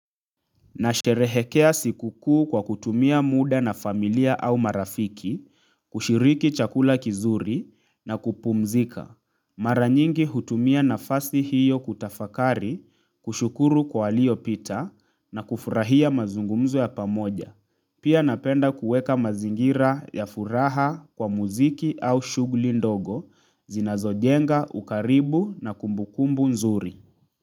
Nasherehekea sikukuu kwa kutumia muda na familia au marafiki, kushiriki chakula kizuri na kupumzika. Mara nyingi hutumia nafasi hiyo kutafakari, kushukuru kwa yaliyopita na kufurahia mazungumzo ya pamoja. Pia napenda kuweka mazingira ya furaha kwa muziki au shughuli ndogo, zinazojenga, ukaribu na kumbukumbu nzuri.